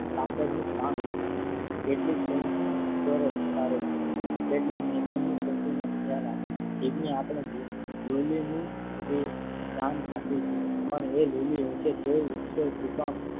કાતરનું કામ કરે છે. કેટલીક કેટલીક નો ખ્યાલ આપે છે. જીભને આપણે લુલી નું સ્થાન આપીયે છીએ પણ એ લુલી હશે તોય ઈશ્વર કૃપા.